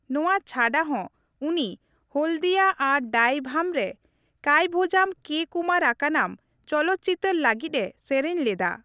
ᱱᱚᱣᱟ ᱪᱷᱟᱰᱟ ᱦᱚᱸ ᱩᱱᱤ ᱦᱚᱞᱫᱤᱭᱟ ᱟᱨ ᱰᱟᱭᱵᱷᱟᱢ ᱨᱮ ᱠᱟᱭᱛᱷᱳᱡᱟᱢ ᱠᱮᱹ ᱠᱩᱢᱟᱨ ᱟᱠᱟᱱᱟᱢ ᱪᱚᱞᱚᱛ ᱪᱤᱛᱟᱹᱨ ᱞᱟᱹᱜᱤᱫᱼᱮ ᱥᱮᱨᱮᱧ ᱞᱮᱫᱟ ᱾